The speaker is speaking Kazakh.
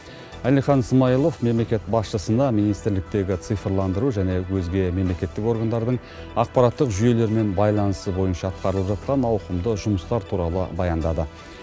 әлихан смайылов мемлекет басшысына министрліктегі цифрландыру және өзге мемлекеттік органдардың ақпараттық жүйелермен байланысы бойынша атқарылып жатқан ауқымды жұмыстар туралы баяндады